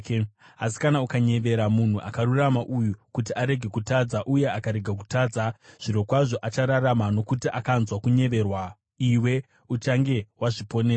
Asi kana ukanyevera munhu akarurama uyu kuti arege kutadza uye akarega kutadza zvirokwazvo achararama nokuti akanzwa kunyeverwa, iwe uchange wazviponesa.”